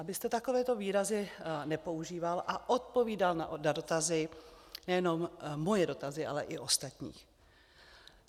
Abyste takovéto výrazy nepoužíval a odpovídal na dotazy, nejenom moje dotazy, ale i ostatních.